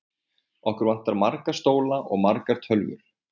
Okkur vantar marga stóla og margar tölvur.